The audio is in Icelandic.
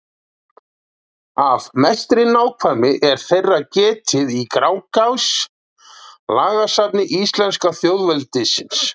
Af mestri nákvæmni er þeirra getið í Grágás, lagasafni íslenska þjóðveldisins.